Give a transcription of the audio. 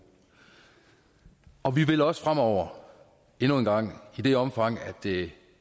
og vi vil også fremover endnu en gang i det omfang det